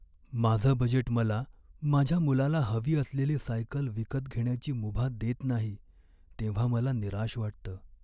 माझं बजेट मला माझ्या मुलाला हवी असलेली सायकल विकत घेण्याची मुभा देत नाही तेव्हा मला निराश वाटतं.